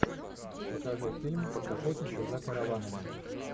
покажи фильм охотники за караванами